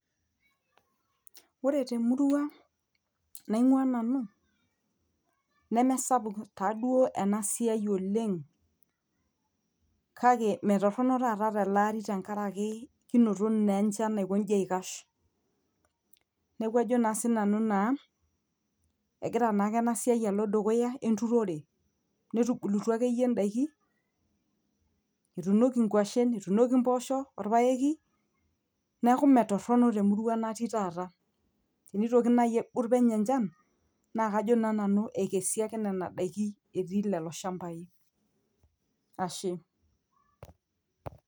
Ore temurua nainkua nanu nemesapuk taaduo ena siai oleng', kake metorono taata tele ari tenkaraki kinoto naa enjan naikoji aikash neeku ajo sinanu naa egira naake ena siai alo dukuya, netubulutua akeyie indaiki, etuunoki inguashen, etuunoki imboosho, etuunoki olpayeki. Neeku meetorono temurua natii taata, tenitoki naaji aigut penyo enjan naakajo naa sinanu ekesi ake nena daiki natii lelo shambai.